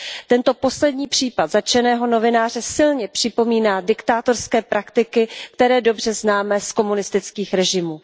Tento poslední případ zatčeného novináře silně připomíná diktátorské praktiky, které dobře známe z komunistických režimů.